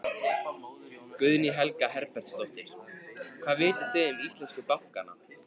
Guðný Helga Herbertsdóttir: Hvað vitið þið um íslensku bankana?